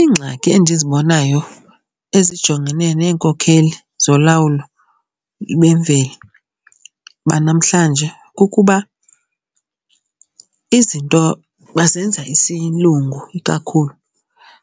Iingxaki endizibonayo ezijongene neenkokheli zolawulo bemveli banamhlanje kukuba izinto bazenza isiLungu ikakhulu,